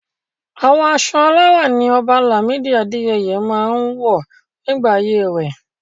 Àwọn aṣọ alárá ní Ọba Lamidi Adeyemi máa ń wọ̀ nígbà ayé rẹ̀.